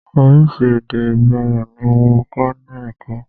Oríṣi èdè ìgboro ní mọ kọ́ ní èkó.